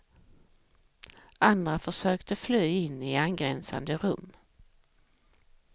Andra försökte fly in i angränsande rum.